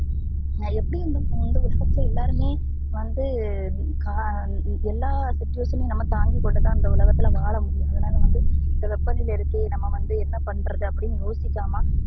நா எப்படி வந்து இந்த ரெண்டு விஷயத்துல எல்லாருமே வந்து அஹ் எல்லா situation னையும் நம்ப தாங்கிகொண்டுதா அந்த உலகத்துல வாழ முடியும் அதுனால வந்து இந்த வெப்பநிலை இருக்கே நம்ம வந்து என்ன பண்றது அப்படின்னு யோசிக்காம